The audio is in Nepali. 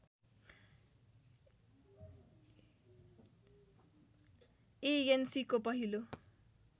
एएनसीको पहिलो